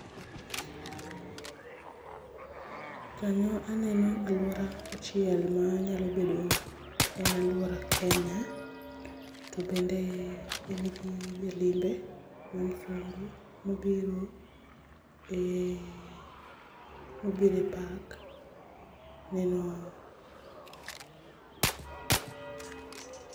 Kanyo aneno alwora achiel ma nyalo bedo en alwora Kenya. To bende en gi jalimbe ma mzungu mobiro e, mobiro e park neno